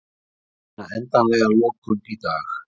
Reyna endanlega lokun í dag